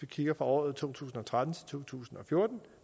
kigger på året to tusind og tretten til to tusind og fjorten